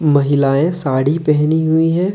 महिलाएं साड़ी पहनी हुई है।